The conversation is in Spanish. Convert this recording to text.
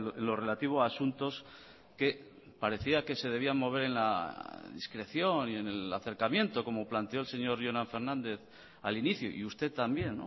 en lo relativo a asuntos que parecía que se debían mover en la discreción y en el acercamiento como planteó el señor jonan fernández al inicio y usted también